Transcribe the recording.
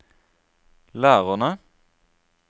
lærerne